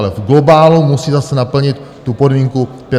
Ale v globálu musí zase naplnit tu podmínku 35 let.